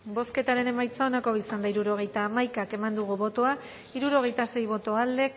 bozketaren emaitza onako izan da hirurogeita hamabi eman dugu bozka hirurogeita sei boto alde